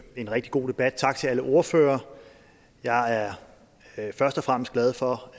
en rigtig god debat tak til alle ordførere jeg er først og fremmest glad for